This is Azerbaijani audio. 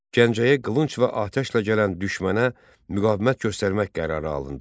Gəncəyə qılınc və atəşlə gələn düşmənə müqavimət göstərmək qərarı alındı.